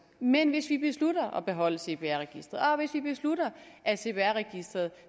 men hvis vi beslutter at beholde cpr registeret og hvis vi beslutter at cpr registeret